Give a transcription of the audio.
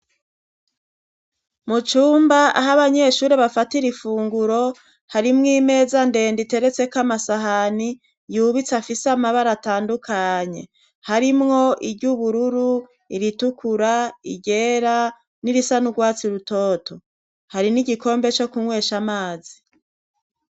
Mu cumba aho abanyeshuri bafatira ifunguro hari mw'imeza ndende iteretseko amasahani yubitse afise amabara atandukanye harimwo iry'ubururu, iritukura, iryera, n'irisa n'ugwatsi rutoto, hari n'igikombe co kunywesha amazi.